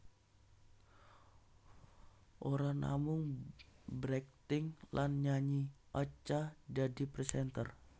Ora namung berakting lan nyanyi Acha dadi presenter